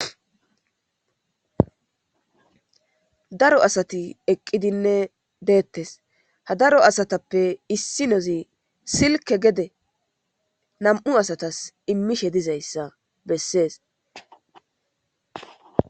Daro asati eqqidinne deettes ha daro asatappe issinozi silke gede nam'u asatas immishe dizayssa bessees